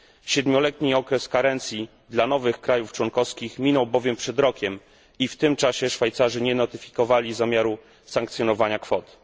Siedmioletni okres karencji dla nowych krajów członkowskich minął bowiem przed rokiem i w tym czasie Szwajcarzy nie notyfikowali zamiaru sankcjonowania kwot.